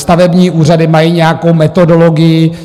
Stavební úřady mají nějakou metodologii.